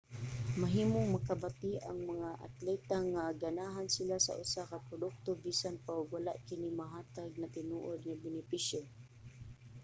mahimong makabati ang mga atleta nga ganahan sila sa usa ka produkto bisan pa og wala kini mahatag na tinuod nga benepisyo